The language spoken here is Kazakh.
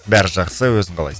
бәрі жақсы өзің қалайсың